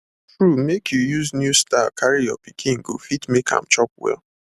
true make you use new style carry your pikin go fit make am chop well